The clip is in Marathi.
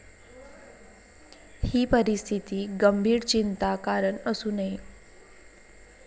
ही परिस्थिती गंभीर चिंता कारण असू नये.